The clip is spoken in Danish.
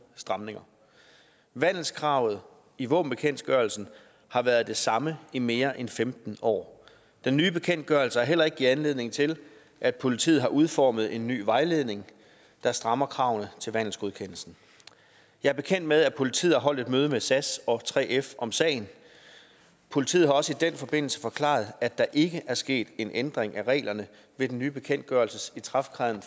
stramninger vandelskravet i våbenbekendtgørelsen har været det samme i mere end femten år den nye bekendtgørelse har heller ikke givet anledning til at politiet har udformet en ny vejledning der strammer kravene til vandelsgodkendelsen jeg er bekendt med at politiet har holdt et møde med sas og 3f om sagen politiet har også i den forbindelse forklaret at der ikke er sket en ændring af reglerne ved den nye bekendtgørelses ikrafttræden